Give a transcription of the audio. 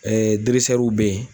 be yen.